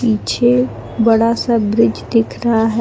पीछे बड़ा सा ब्रिज दिख रहा है।